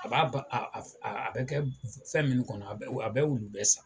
A b'a ba a a a bɛ kɛ fɛn minnu kɔnɔ a bɛ a bɛ ulu bɛɛ san.